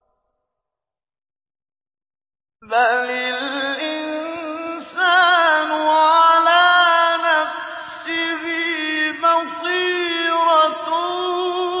بَلِ الْإِنسَانُ عَلَىٰ نَفْسِهِ بَصِيرَةٌ